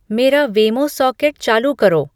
मेरा वेमो सौकेट चालू करो